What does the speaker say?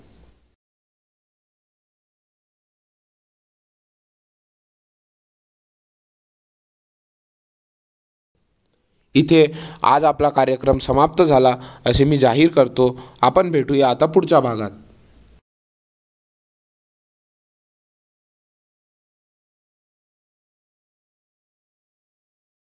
इथे आज आपला कार्यक्रम समाप्त झाला. असे मी जाहीर करतो. आपण भेटूया आता पुढच्या भागात.